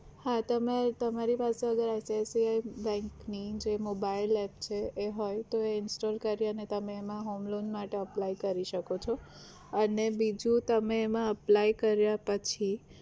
હા તમે તમારી પાસે હવે ICICI bank ની જે mobile App છે એ હોય તો એ install કરીને અને તમે એમાં homeloan માટે apply કરી શકો છો અને બીજું તમે એમાં apply કર્યા પછી